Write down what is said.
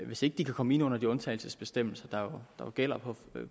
hvis ikke de kan komme ind under de undtagelsesbestemmelser der jo gælder